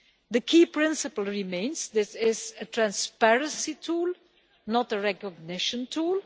The key principle remains this is a transparency tool, not a recognition tool.